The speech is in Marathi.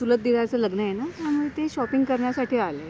चुलत दिराच लग्न आहे ना, त्यामुळे ते शॉपिंग करण्यासाठी आले आहेत.